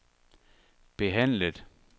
behandlet